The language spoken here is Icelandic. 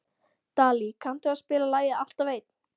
Dalí, kanntu að spila lagið „Alltaf einn“?